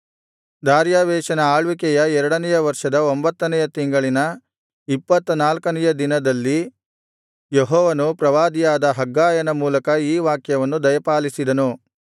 ದಾರ್ಯಾವೆಷನ ಆಳ್ವಿಕೆಯ ಎರಡನೆಯ ವರ್ಷದ ಒಂಭತ್ತನೆಯ ತಿಂಗಳಿನ ಇಪ್ಪತ್ತನಾಲ್ಕನೆಯ ದಿನದಲ್ಲಿ ಯೆಹೋವನು ಪ್ರವಾದಿಯಾದ ಹಗ್ಗಾಯನ ಮೂಲಕ ಈ ವಾಕ್ಯವನ್ನು ದಯಪಾಲಿಸಿದನು